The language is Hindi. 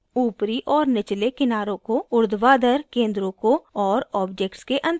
ऊपरी और निचले किनारों को ऊर्ध्वाधर केंद्रों को और ऑब्जेक्ट्स के अंतराल को